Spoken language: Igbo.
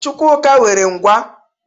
Chukwuka nwere ngwá.